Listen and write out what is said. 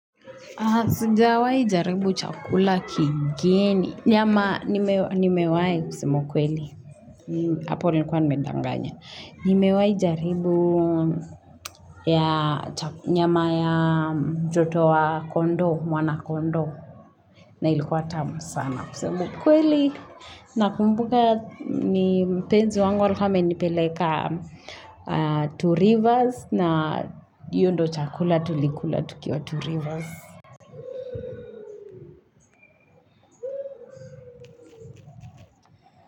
Sjawai jaribu chakula kigeni. Nyama nimewai kusema ukweli. Hapo nilikuwa nimedanganya. Nimewai jaribu nyama ya joto wa kondoo, mwana kondoo. Na ilikuwa tamu sana kusema ukweli. Nakumbuka ni mpenzi wangu alikuwa amenipeleka two rivers. Na hiyo ndio chakula tulikula tukiwa two rivers.